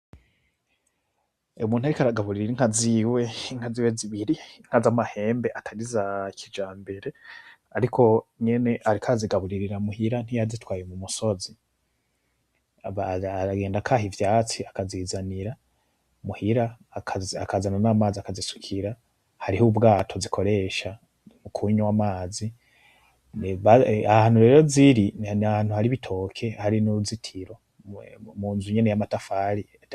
Umuntu ariko aragaburira inka ziwe inka ziwe zibiri inka zamahembe atari izakijambere . ariko nyene ariko arazigaburirira muhira ntiyazitwaye mumusozi aragenda akaha ivyatsi akazizanira muhira akazana n'amazi akazisukira hariho ubwato zikoresha mu kunywa amazi ahantu rero ziri nahantu hari ibitoke hari nuruzitiro munzu nyene yamatafari